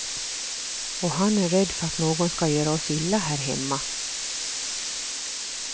Och han är rädd för att någon ska göra oss illa här hemma.